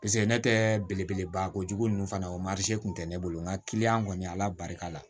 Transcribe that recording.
paseke ne tɛ belebeleba ko jugu ninnu fana o kun tɛ ne bolo nka kɔni ala barika la